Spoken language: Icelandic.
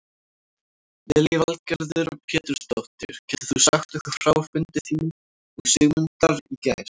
Lillý Valgerður Pétursdóttir: Getur þú sagt okkur frá fundi þínum og Sigmundar í gær?